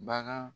Bagan